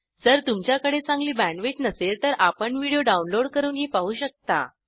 जर तुमच्याकडे चांगली बॅण्डविड्थ नसेल तर आपण व्हिडिओ डाउनलोड करूनही पाहू शकता